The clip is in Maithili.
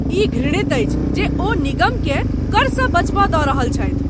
ई घृणित अछि जे ओ निगमकेँ करसँ बचब दऽ रहल छथि।